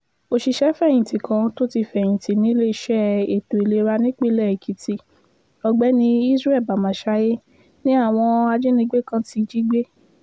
osise feyinti kan toti feyinti ni ile ise eto ilera ni ipinle ekiti obgeni israel Bamasayie ni awon ajinigbe kan ti ji gbe